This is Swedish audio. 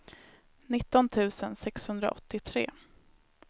nitton tusen sexhundraåttiotre